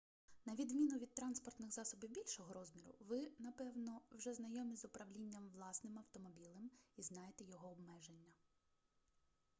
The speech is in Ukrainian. на відміну від транспортних засобів більшого розміру ви напевно вже знайомі з управлінням власним автомобілем і знаєте його обмеження